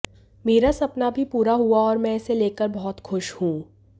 मेरा सपना भी पूरा हुआ और मैं इसे लेकर बहुत खुश हूं